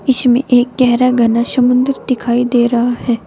इसमें एक गहरा घना समुद्र दिखाई दे रहा है।